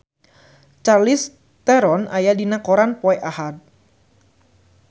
Charlize Theron aya dina koran poe Ahad